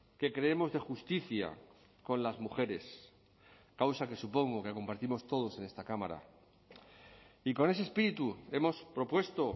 que creemos de justicia con las mujeres causa que supongo que compartimos todos en esta cámara y con ese espíritu hemos propuesto